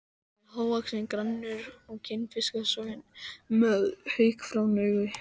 Hann er hávaxinn, grannur, kinnfiskasoginn og með haukfrán augu.